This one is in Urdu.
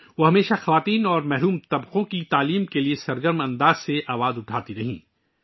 انہوں نے ہمیشہ خواتین اور پسماندہ طبقے کی تعلیم کے لیے بھرپور آواز بلند کی